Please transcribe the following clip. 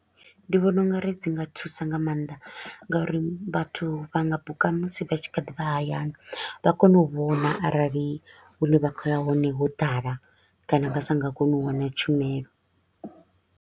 Ndi vhona u nga ri dzi nga thusa nga maanḓa nga uri vhathu vha nga buka musi vha tshi kha ḓi vha hayani, vha kone u vhona arali hune vha kho u ya hone ho ḓala kana vha sa nga koni u wana tshumelo.